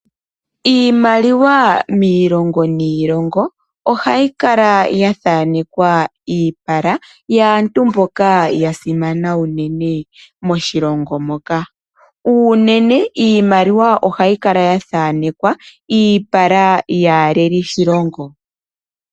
Iimaliwa miilongo niilongo ohayi kala ya thanekwa iipala yaantu mboka ya simana unene moshilongo moka. Unene ohayi kala ya thanekwa iipala yaaleli shilongo.